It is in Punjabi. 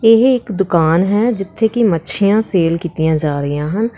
ਇਹ ਦੁਕਾਨ ਹੈ ਜਿੱਥੇ ਕਿ ਮੱਛੀਆਂ ਸੇਲ ਕੀਤੀਆਂ ਜਾ ਰਹੀਆਂ ਹਨ।